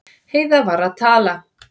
Heiða var að tala.